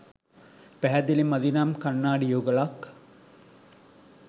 පැහැදිලි මදි නම් කන්නාඩි යුගලක්